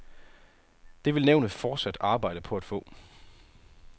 Det vil nævnet fortsat arbejde på at få.